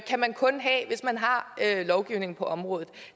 kan man kun have hvis man har lovgivning på området